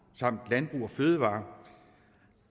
samt landbrug fødevarer